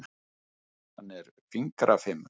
Hann er fingrafimur.